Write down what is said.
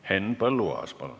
Henn Põlluaas, palun!